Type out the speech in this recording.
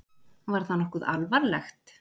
Var það nokkuð alvarlegt?